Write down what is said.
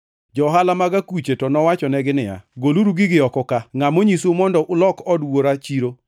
Johala mag akuche to nowachonegi niya, “Goluru gigi oko ka! Ngʼa monyisou mondo ulok od Wuora chiro!”